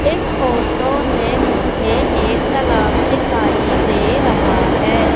इस फोटो में मुझे एक तालाब दिखाई दे रहा है।